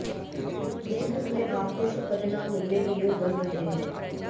business में आपको शुभ परिणाम मिलने के योग बन रहे हैं